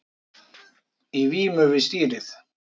Í vímu við stýrið